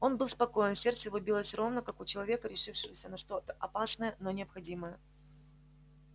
он был спокоен сердце его билось ровно как у человека решившегося на что-то опасное но необходимое